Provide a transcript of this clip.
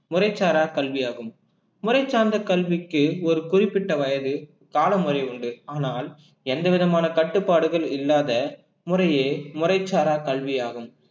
முறைச்சாரா கல்வியாகும் முறை சார்ந்த கல்விக்கு ஒரு குறிப்பிட்ட வயது காலமுறை உண்டு ஆனால் எந்த விதமான கட்டுப்பாடுகள் இல்லாத முறையே முறைச்சாரா கல்வியாகும்